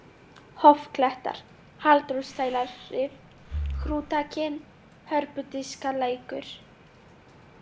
Hofklettar, Halldórsdælarif, Hrútakinn, Hörpudiskalækur